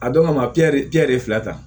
A dɔn kama de fila ta